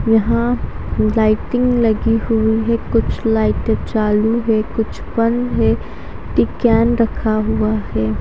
यहाँ लाइटिंग लगी हुई है कुछ लाइटे चालू है कुछ बंद है रखा हुआ है।